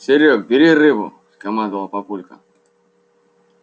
серёг бери рыбу скомандовал папулька